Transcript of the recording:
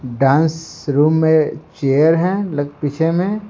Dance room में chair है लक पीछे में।